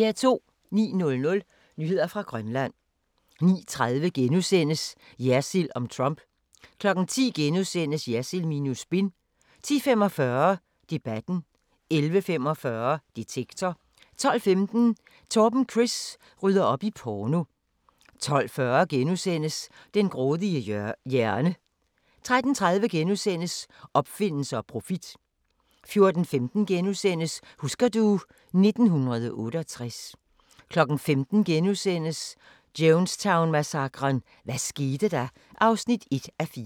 09:00: Nyheder fra Grønland 09:30: Jersild om Trump * 10:00: Jersild minus spin * 10:45: Debatten * 11:45: Detektor * 12:15: Torben Chris rydder op i porno 12:40: Den grådige hjerne * 13:30: Opfindelser og profit * 14:15: Husker du ... 1968 * 15:00: Jonestown-massakren: Hvad skete der? (1:4)*